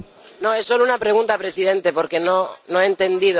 Es solo una pregunta, señor presidente, porque no he entendido.